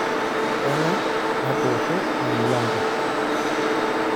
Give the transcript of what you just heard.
Keng'ae natoosho emilango?